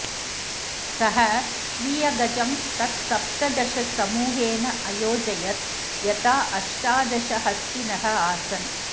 स स्वीयगजं तत्सप्तदशसमूहेन अयोजयत् यथा अष्टादश हस्तिनः आसन्